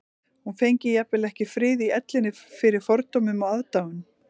Hún fengi jafnvel ekki frið í ellinni fyrir fordómum og aðdáun